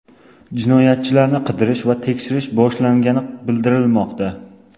Jinoyatchilarni qidirish va tekshiruv boshlangani bildirilmoqda.